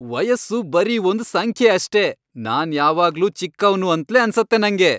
ವಯಸ್ಸು ಬರೀ ಒಂದ್ ಸಂಖ್ಯೆ ಅಷ್ಟೇ. ನಾನ್ ಯಾವಾಗ್ಲೂ ಚಿಕ್ಕವ್ನು ಅಂತ್ಲೇ ಅನ್ಸತ್ತೆ ನಂಗೆ.